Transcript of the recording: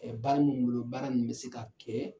Ɛɛ baara mun bolo, o baara nunnu be se ka kɛ